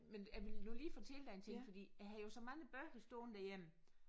Men jeg ville nu lige fortælle dig en ting fordi jeg havde jo så mange bøger stående derhjemme